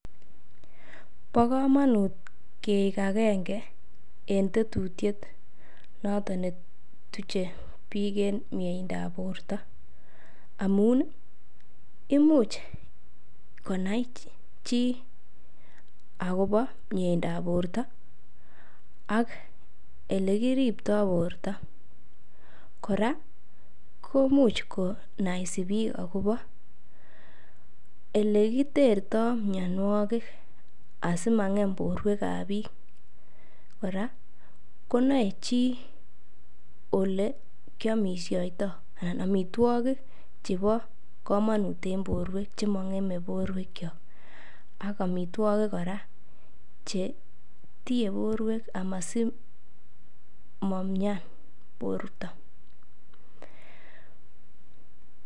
Bo koonut keik agenge en tetutyet noton ne tuche biik en mieindab borto amun imuch konai chi agobo mieindab borto ak ole kiripto borto. Kora komuch kanaisi biik agobo ele kiterto mianwogik asimang'em borwek ab biik kora konae chi ole kiamisioitoi anan amitwogik chebo komonut en borwek. Che mang'eme borwekyok amitwogik kora che tiiye borwek asimomian borto.